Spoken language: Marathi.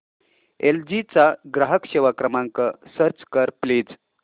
एल जी चा ग्राहक सेवा क्रमांक सर्च कर प्लीज